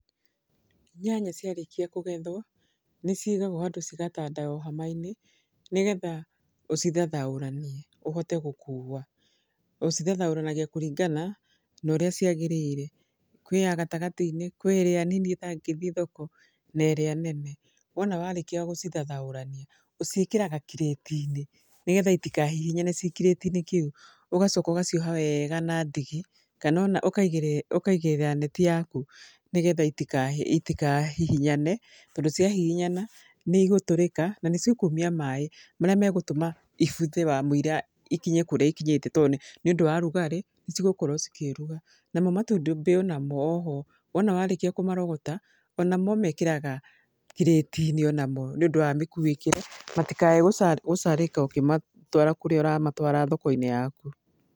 Nyanya ciarĩkia kũgethwo, nĩ cigagwo handũ cigatandao hama-inĩ, nĩgetha ũcithathaũranie, ũhote gũkuua. Ũcithathaũranagia kũringana na ũrĩa ciagĩrĩire. Kwĩ ya gatagatĩ-inĩ, kwĩ ĩrĩa nini ĩtangĩthi thoko, na ĩrĩa nene. Wona warĩkia gũcithathaũrania, ũciĩkĩraga kirĩti-inĩ, nĩgetha itihahihinyane ci kirĩti-inĩ kĩu. Ũgacoka ũgacioha wega na ndigi, kana ona ũkaigĩrĩra neti yaku nĩgetha itikahihinyane. Tondũ ciahihinyana, nĩ igũtũrĩka, na nĩ cikumia maĩ. Marĩa megũtũma ibuthe wamũira ikinye kũrĩa ikinyĩte, to nĩ ũndũ wa rugarĩ nĩ cigũkorwo cikĩruga. Namo matumbĩ onamo oho, wona warĩkia kũmarogota, onamo ũmekĩraga kiriti-inĩ onamo nĩ ũndũ wa mĩkuĩkĩre, matikae gũcarĩka ũkĩmatwara kũrĩa ũramatwara thoko-inĩ yaku.